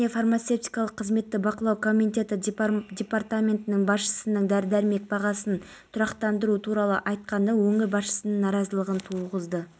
сыртқы істер министрі қайрат әбдірахмановтың айтуынша сирия мәселесін шешу жолында қазақстан ешкімнің ықпалына түспейді астана процесінің өзі еліміздің ортақ іске қосқан